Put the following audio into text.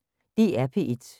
DR P1